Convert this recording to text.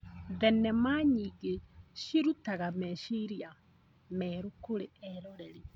Thenema nyingĩ cirutaga meciria merũ kũrĩ eroreri.